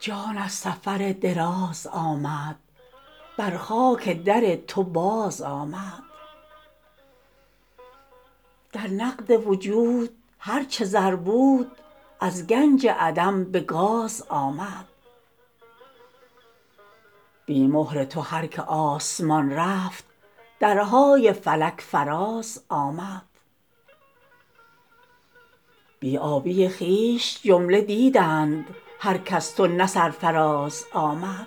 جان از سفر دراز آمد بر خاک در تو بازآمد در نقد وجود هر چه زر بود از گنج عدم به گاز آمد بی مهر تو هر که آسمان رفت درهای فلک فرازآمد بی آبی خویش جمله دیدند هرک از تو نه سرفراز آمد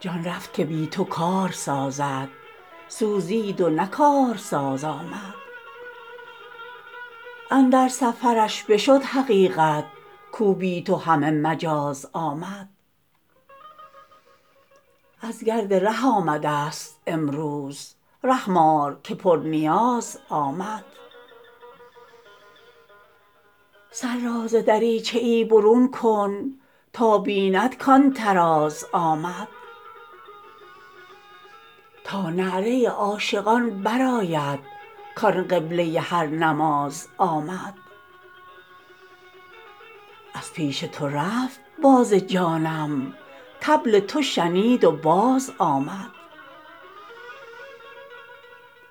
جان رفت که بی تو کار سازد سوزید و نه کارساز آمد اندر سفرش بشد حقیقت کو بی تو همه مجاز آمد از گرد ره آمدست امروز رحم آر که پرنیاز آمد سر را ز دریچه ای برون کن تا بیند کان طراز آمد تا نعره عاشقان برآید کان قبله هر نماز آمد از پیش تو رفت باز جانم طبل تو شنید و بازآمد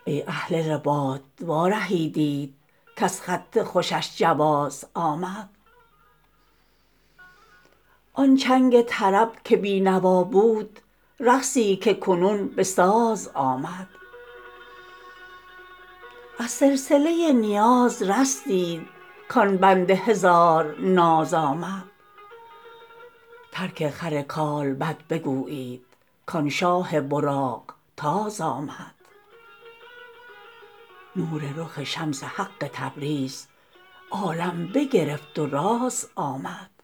ای اهل رباط وارهیدیت کز خط خوشش جواز آمد آن چنگ طرب که بی نوا بود رقصی که کنون به ساز آمد از سلسله نیاز رستید کان بند هزار ناز آمد ترک خر کالبد بگویید کان شاه براق تاز آمد نور رخ شمس حق تبریز عالم بگرفت و راز آمد